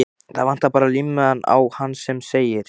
Það vantar bara límmiðann á hann sem segir